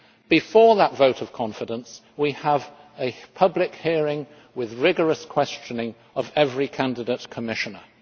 Before that vote of confidence we have a public hearing with rigorous questioning of every candidate Commissioner.